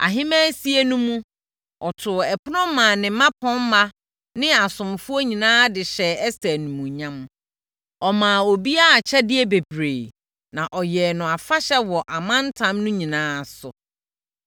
Ahemmaasie no mu, ɔtoo ɛpono maa ne mmapɔmma ne asomfoɔ nyinaa de hyɛɛ Ɛster animuonyam. Ɔmaa obiara akyɛdeɛ bebree, na ɔyɛɛ no afahyɛ wɔ amantam no nyinaa so.